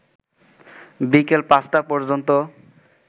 বিকেল ৫টা পর্যন্ত